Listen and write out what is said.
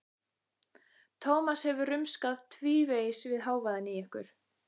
Tómas hefur rumskað tvívegis við hávaðann í ykkur.